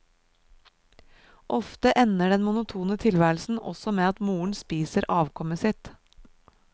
Ofte ender den monotone tilværelsen også med at moren spiser avkommet sitt.